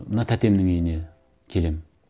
мына тәтемнің үйіне келемін